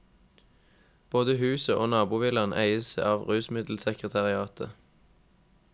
Både huset og nabovillaen eies av rusmiddelsekretariatet.